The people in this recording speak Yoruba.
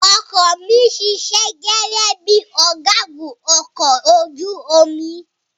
Ọkọ ọ̀ mi ṣiṣẹ́ gẹ́gẹ́ bíi ọ̀gágun ọkọ̀ ojú omi.